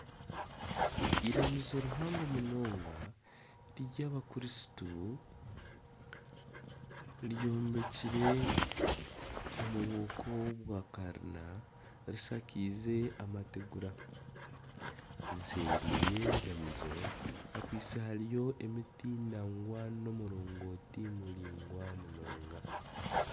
Iramizo rihango munonga ryabakristo eyombekire omu muringo gwa kalina rishakaize amategura nseeri y'eiramizo hariyo emiti n'omurogoti muraingwa munonga